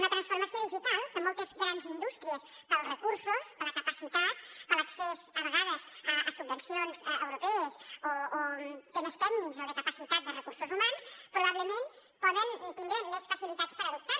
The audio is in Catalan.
la transformació digital que moltes grans indústries pels recursos per la capacitat per l’accés a vegades a subvencions europees o temes tècnics o de capacitat de recursos humans probablement poden tindre més facilitats per adoptar la